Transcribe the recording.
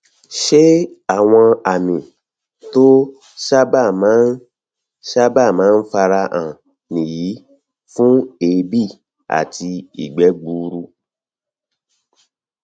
ṣé àwọn àmì tó sábà máa sábà máa ń fara hàn nìyí fún èébì àti ìgbẹ gbuuru